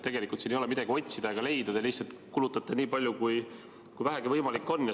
Siin ei ole midagi otsida ega leida, te lihtsalt kulutate nii palju, kui vähegi võimalik on.